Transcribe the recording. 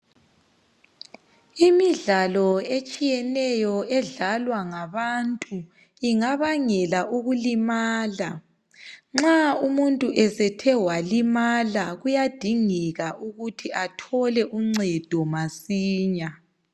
Imidlalo etshiyeneyo edlalwa ngabantu ingabangela ukulimala. Nxa umuntu esethe walimala, kuyadingeka ukuthi athole uncedo masinya.